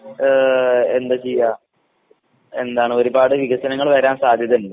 ഏഹ് എന്താ ചെയ്യാ എന്താണ് ഒരുപാട് വികസനങ്ങള് വരാൻ സാധ്യതിണ്ട്.